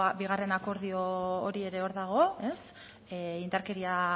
bigarren akordio hori ere hor dago indarkeria